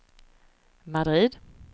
Madrid